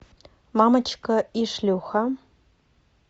мамочка и шлюха